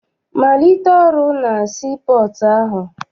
Malite ọrụ na sii pọọtụ ahụ!